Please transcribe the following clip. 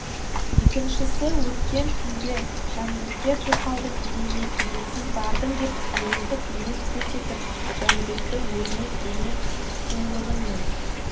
екіншісі өткен түнде жанбике тоқалдың үйіне кезексіз бардың деп әйелдік мінез көрсетіп жәнібекті өзіне дене сұлулығымен